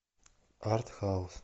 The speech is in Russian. артхаус